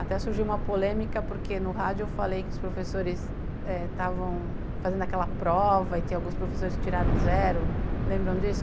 Até surgiu uma polêmica porque no rádio eu falei que os professores eh estavam fazendo aquela prova e tem alguns professores que tiraram zero, lembram disso?